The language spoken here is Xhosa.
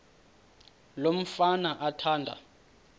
lo mfana athanda